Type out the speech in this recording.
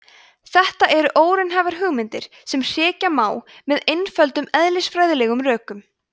þetta eru óraunhæfar hugmyndir sem hrekja má með einföldum eðlisfræðilegum rökum